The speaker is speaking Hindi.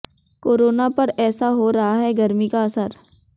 कोरोना पर ऐसा हो रहा है गर्मी का असर